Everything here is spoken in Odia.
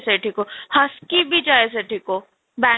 ସେଇଠିକୁ ହାଃସ୍କି ବି ଯାଏ ସେଥିକୁ ବାଙ୍ଗ